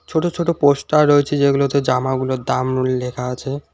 ছোট ছোট পোস্টার রয়েছে যেগুলোতে জামাগুলোর দামগুলো লেখা আছে।